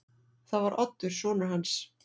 Það var Oddur sonur hans.